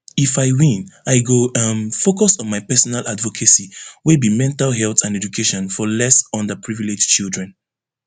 if i win i go um focus on my personal advocacy wey be mental health and education for less under privilege children